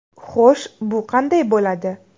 Xo‘sh, bu qanday bo‘ladi?